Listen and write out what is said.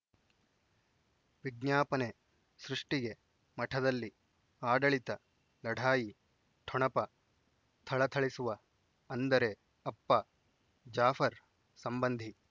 ವಿಜ್ಞಾಪನೆ ಸೃಷ್ಟಿಗೆ ಮಠದಲ್ಲಿ ಆಡಳಿತ ಲಢಾಯಿ ಠೊಣಪ ಥಳಥಳಿಸುವ ಅಂದರೆ ಅಪ್ಪ ಜಾಫರ್ ಸಂಬಂಧಿ